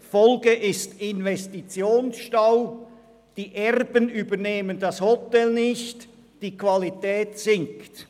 – Die Folge ist Investitionsstau, die Erben übernehmen das Hotel nicht, die Qualität sinkt.